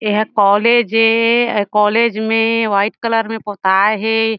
एहा कॉलेज ए कॉलेज में वाइट कलर में पोताए हे।